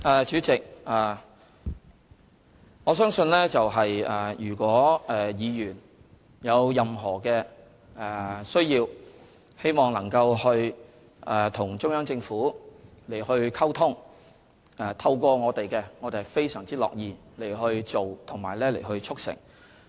主席，如果議員有任何需要，希望能夠透過我們與中央政府溝通，我們是非常樂意去做及促成的。